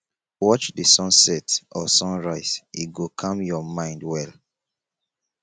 watch the sunset or sunrise e go calm your mind well